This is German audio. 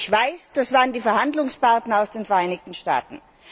Ich weiß, das waren die Verhandlungspartner aus den Vereinigten Staaten.